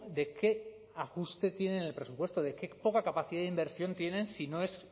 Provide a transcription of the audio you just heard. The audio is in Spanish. de qué ajuste tienen el presupuesto de qué poca capacidad de inversión tienen si no es